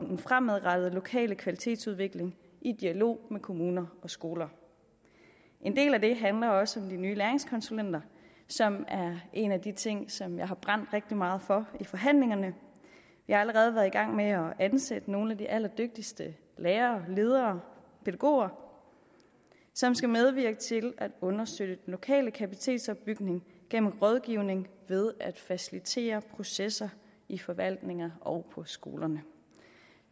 den fremadrettede lokale kvalitetsudvikling i dialog med kommuner og skoler en del af det handler også om de nye læringskonsulenter som er en af de ting som jeg har brændt rigtig meget for i forhandlingerne jeg har allerede været i gang med at ansætte nogle af de allerdygtigste lærere ledere pædagoger som skal medvirke til at undersøge den lokale kapacitetsopbygning gennem rådgivning og ved at facilitere processer i forvaltninger og på skolerne